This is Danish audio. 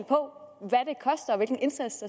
og hvilken indsats